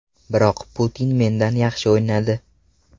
Biroq Putin mendan yaxshi o‘ynadi.